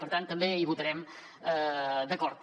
per tant també hi votarem d’acord